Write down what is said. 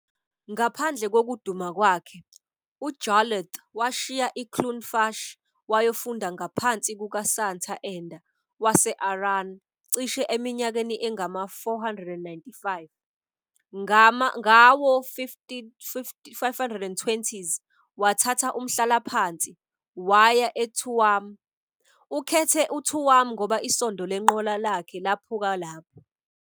"Ngaphandle kokuduma kwakhe, uJarlath washiya iCloonfush wayofunda ngaphansi kukaSanta Enda wase-Aran cishe eminyakeni engama-495. Ngawo-520s, wathatha umhlalaphansi waya eTuam. Ukhethe uTuam ngoba isondo lenqola yakhe laphuka lapho.